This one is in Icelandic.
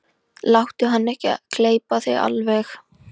Láttu hann ekki gleypa þig alveg!